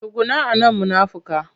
Tsuguna a nan munafika!